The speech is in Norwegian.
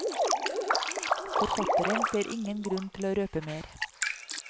Forfatteren ser ingen grunn til å røpe mer.